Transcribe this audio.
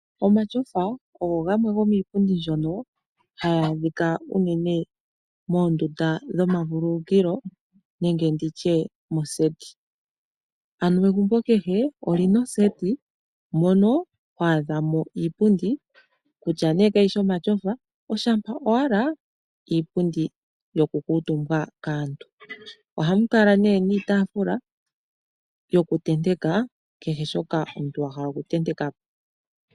Omatyofa ogo gamwe gomiipundi mbyoka hayi adhika unene moondunda dhomavululukilo ano moseti. Egumbo kehe oli na oseti mono ho adhamo iipundi kutya nee kayishi yomatyofa, oshampa owala iipundi yoku kuutumbwa kaantu. Oha mu kala woo iitaafula yoku tenteka kehe shoka omuntu wa hala oku tenteka po.